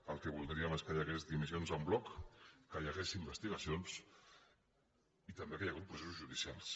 el que vol·dríem és que hi hagués dimissions en bloc que hi ha·gués investigacions i també que hi hagués processos judicials